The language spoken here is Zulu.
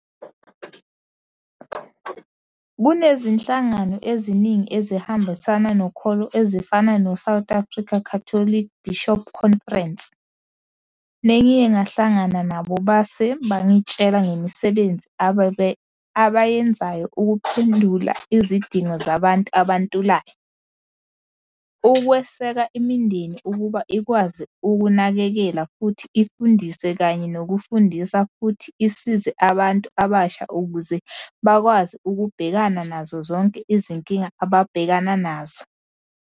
Kunezinhlangano eziningi ezihambisana nokholo ezifana no-South African Catholic Bishops' Conference, nengiye ngahlangana nabo base bangitshela ngemisebenzi abayenzayo ukuphendula izidingo zabantu abantulayo, ukweseka imindeni ukuba ikwazi ukunakekela futhi ifundise kanye nokufundisa futhi isize abantu abasha ukuze bakwazi ukubhekana nazo zonke izinkinga ababhekana nazo.